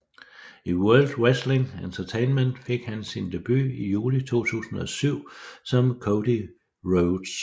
I World Wrestling Entertainment fik han sin debut i juli 2007 som Cody Rhodes